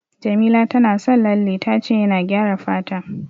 Jamila tana son lalle, ta ce yana gyara fata.